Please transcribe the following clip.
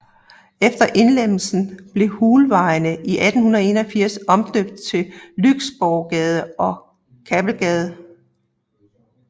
Efter indlemmelsen blev Hulvejene i 1881 omdøbt til Lyksborggade og Kappelgade